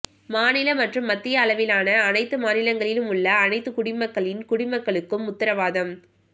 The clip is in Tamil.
மாநில மற்றும் மத்திய அளவிலான அனைத்து மாநிலங்களிலும் உள்ள அனைத்து குடிமக்களின் குடிமக்களுக்கும் உத்தரவாதம்